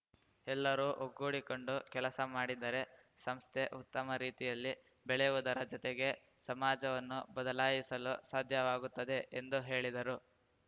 ಎಲ್ಲರೂ ಒಗ್ಗೂಡಿಕೊಂಡು ಕೆಲಸ ಮಾಡಿದರೆ ಸಂಸ್ಥೆ ಉತ್ತಮ ರೀತಿಯಲ್ಲಿ ಬೆಳೆಯುವುದರ ಜೊತೆಗೆ ಸಮಾಜವನ್ನು ಬದಲಾಯಿಸಲು ಸಾಧ್ಯವಾಗುತ್ತದೆ ಎಂದು ಹೇಳಿದರು